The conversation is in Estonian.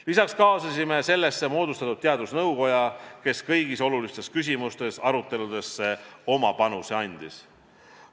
Lisaks kaasasime sellesse moodustatud teadusnõukoja, kes kõigis olulistes küsimustes aruteludesse oma panuse andis.